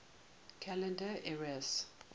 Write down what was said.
calendar eras